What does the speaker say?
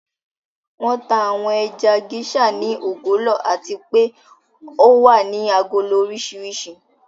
Wọn tà àwọn ẹja Geisha ní ògólọ̀ àti pè o wà ní àgólò orísíríṣì.